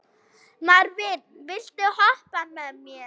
Marvin, viltu hoppa með mér?